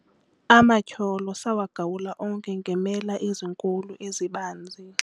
amatyholo sawagawula onke ngeemela ezinkulu ezibanzi